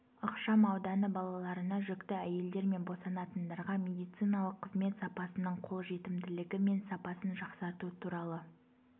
ықшам ауданы балаларына жүкті әйелдер мен босанатындарға медициналық қызмет сапасының қолжетімділігі мен сапасын жақсарту туралы